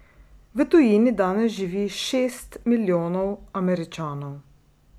V tujini danes živi šest milijonov Američanov.